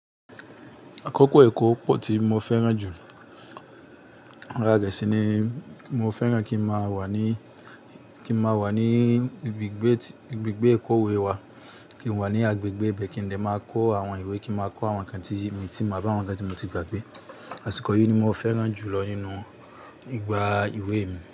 Àkókò ẹ̀kọ́ pọ̀ tí mo fẹ́ràn jù. Arare sini ni mo fẹ́ràn kí n máa wà ní, kí n máa wà ní ibi ìgbé, ibi ìgbé ẹ̀kọ́ ìwé wa. Kí n wà ní agbègbè be kí ń de máa kọ́ àwọn ìwé, kí n máa kọ́ àwọn nǹkan tí èmi ti mọ̀, àwọn nǹkan tí mo ti gbàgbé. Àsìkò yìí ni mo fẹ́ràn jù lọ nínú ìgbà ìwé mi.